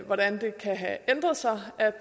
hvordan det kan have ændret sig